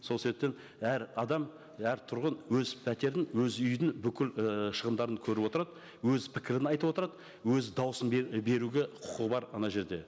сол себептен әр адам әр тұрғын өз пәтерін өз үйдің бүкіл і шығындарын көріп отырады өз пікірін айтып отырады өз дауысын беруге құқығы бар ана жерде